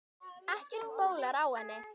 Ekkert bólar á henni.